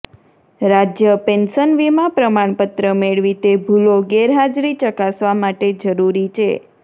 રાજ્ય પેન્શન વીમા પ્રમાણપત્ર મેળવી તે ભૂલો ગેરહાજરી ચકાસવા માટે જરૂરી છે